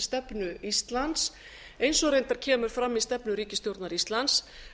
utanríkisstefnu íslands eins og reyndar kemur fram í stefnu ríkisstjórnar íslands